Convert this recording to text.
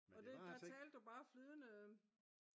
der talte du bare flydende?